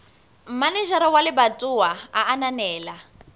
manejara wa lebatowa a ananela